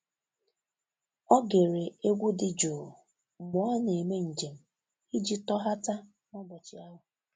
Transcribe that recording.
Ọ́ gere égwu dị jụụ mgbe ọ́ nà-èmé njem iji tọ́ghàta n’ụ́bọ̀chị̀ ahụ́.